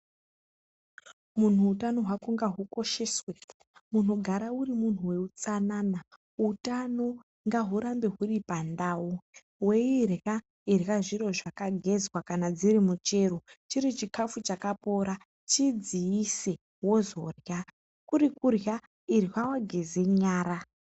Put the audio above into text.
Muntu hutano hwako ngahukosheswe chingogara uri muntu wehutsanana utano ngahurambe huri pandau weirya irya zviro zvakageza kana chero chiri chikafu chakapora chidziise wozorya kuri kudziisa geza nyara wozorya.